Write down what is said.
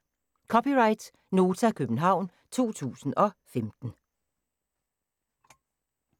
(c) Nota, København 2015